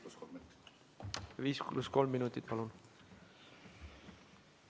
Palun 5 + 3 minutit!